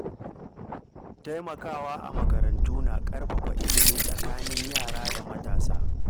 Taimakawa a makarantu na ƙarfafa ilimi a tsakanin yara da matasa.